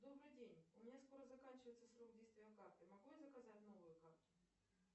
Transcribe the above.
добрый день у меня скоро заканчивается срок действия карты могу я заказать новую карту